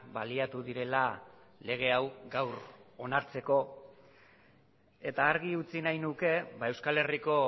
baliatu direla lege hau gaur onartzeko eta argi utzi nahi nuke euskal herriko